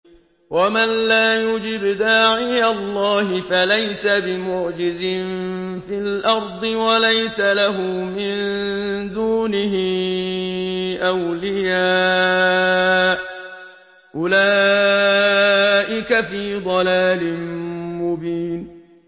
وَمَن لَّا يُجِبْ دَاعِيَ اللَّهِ فَلَيْسَ بِمُعْجِزٍ فِي الْأَرْضِ وَلَيْسَ لَهُ مِن دُونِهِ أَوْلِيَاءُ ۚ أُولَٰئِكَ فِي ضَلَالٍ مُّبِينٍ